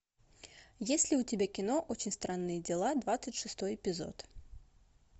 есть ли у тебя кино очень странные дела двадцать шестой эпизод